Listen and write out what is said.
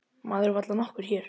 Maður varla nokkur hér.